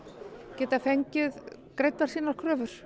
geta fengið greiddar sínar kröfur